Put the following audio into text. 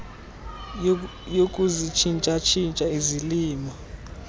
yokuzitshintsha tshintsha izilimo